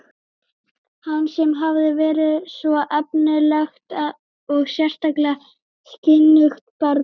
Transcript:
Hann sem hafði verið svo efnilegt og sérstaklega skynugt barn.